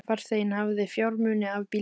Farþeginn hafði fjármuni af bílstjóranum